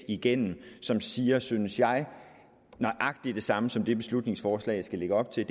igennem som siger synes jeg nøjagtig det samme som det beslutningsforslaget lægger op til